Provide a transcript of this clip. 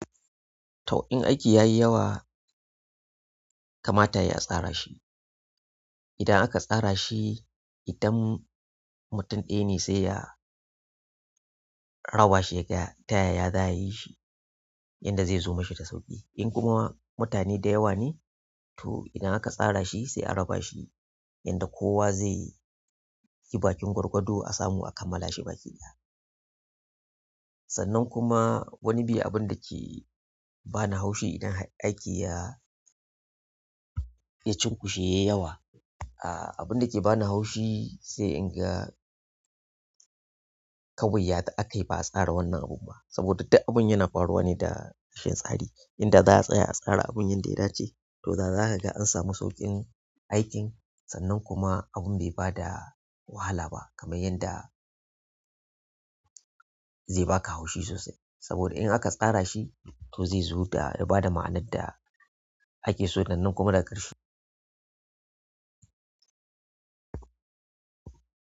To, in aiki ya yi yawa, kamata yayi a tsara shi. Idan aka tsara shi, idan mutum ɗaya ne sai ya a bashi da a ƙaya tayaya za a yi shi, yanda zai zo mashi da sauƙi. In kuma mutane da yawa ne, to idan aka tsara shi sai a raba shi yanda kowa zai yi bakin gwargwado a samu a kammala shi baki ɗaya. Sannan kuma wani bi abun da ke ba ni haushi idan har aiki ya, ya cunkushe yayi yawa, ah abun da ke ba na haushi sai in ga kawai ya aka yi ba a tsara wannan abun ba. Saboda duk abun yana faruwa ne da rashin tsari. Idan za a tsaya a tsara abun yanda ya dace to dazage an samu sauƙin aikin sannan kuma abun bai bada wahala ba kamar yanda zai baka haushi sosai. Saboda in aka tsara shi to zai zo da yaba da ma'anar da ake so sannan kuma daga ƙarshe.